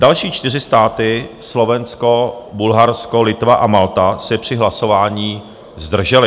Další čtyři státy - Slovensko, Bulharsko, Litva a Malta - se při hlasování zdržely.